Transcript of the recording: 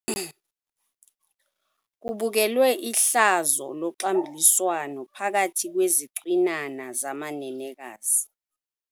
Kubukelwe ihlazo loxambuliswano phakathi kwezicwinana zamanenekazi.